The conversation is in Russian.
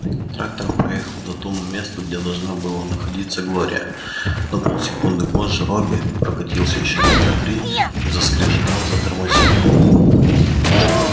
трактор проехал до того месту где должна была находиться глория на пол секунды позже робби прокатился ещё метра три и заскрежетав затормозил